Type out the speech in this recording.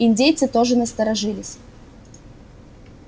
индейцы тоже насторожились